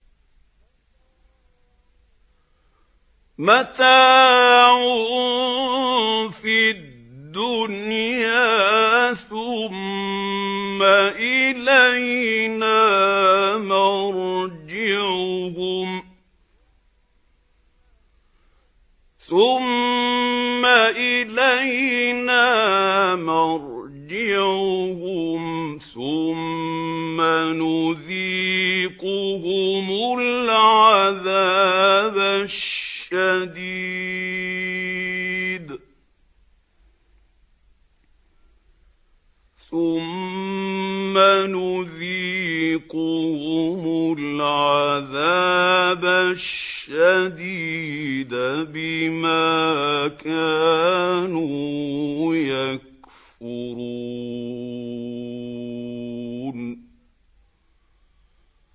مَتَاعٌ فِي الدُّنْيَا ثُمَّ إِلَيْنَا مَرْجِعُهُمْ ثُمَّ نُذِيقُهُمُ الْعَذَابَ الشَّدِيدَ بِمَا كَانُوا يَكْفُرُونَ